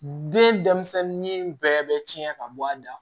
Den denmisɛnnin bɛɛ bɛ tiɲɛ ka bɔ a da